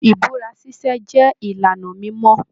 Ibúra ṣiṣe jẹ ìlànà mimọ.